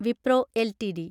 Wipro LTD